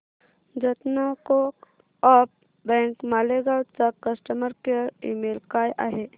जनता co-op bank Malegaon चा customer care email काय आहे